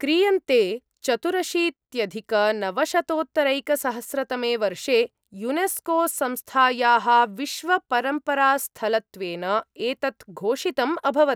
क्रियन्ते, चतुरशीत्यधिकनवशतोत्तरैकसहस्रतमे वर्षे यूनेस्कोसंस्थायाः विश्वपरम्परास्थलत्वेन एतत् घोषितम् अभवत्।